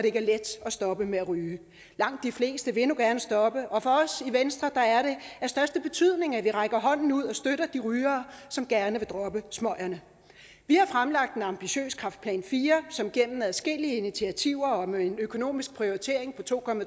ikke er let at stoppe med at ryge langt de fleste vil nu gerne stoppe og for os i venstre er det af største betydning at vi rækker hånden ud og støtter de rygere som gerne vil droppe smøgerne vi har fremlagt en ambitiøs kræftplan iv som gennem adskillige initiativer og med en økonomisk prioritering på to